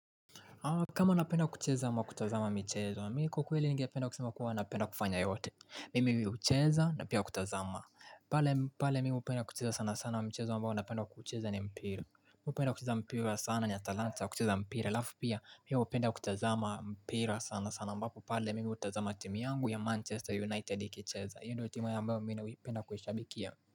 Kama napenda kucheza ama kutazama michezo wa mi kwa ukweli ningependa kusema kuwa napenda kufanya yote. Mimi hucheza na pia kutazama. Pale mi hupenda kucheza sana sana mchezo ambao napenda kucheza ni mpira. Mi hupenda kucheza mpira sana nina talanta ya kucheza mpira. Alafu pia, mi hupenda kutazama mpira sana sana ambapo. Pale mimi hutazama timu yangu ya Manchester United ikicheza. Hiyo ndo timu ambayo mi napenda kuishabikia.